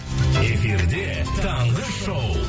эфирде таңғы шоу